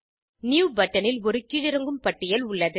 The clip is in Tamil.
நியூ பட்டனில் ஒரு கீழிறங்கும் பட்டியல் உள்ளது